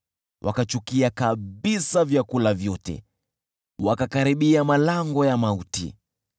Wakachukia kabisa vyakula vyote, wakakaribia malango ya mauti.